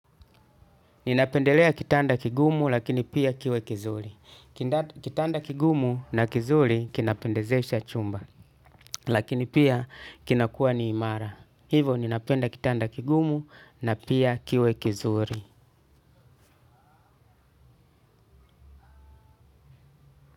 Ninapendelea kitanda kigumu lakini pia kiwe kizuri. Kitanda kigumu na kizuri kinapendezesha chumba lakini pia kinakuwa ni imara. Hivo ninapenda kitanda kigumu na pia kiwe kizuri.